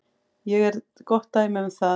Ég er gott dæmi um það.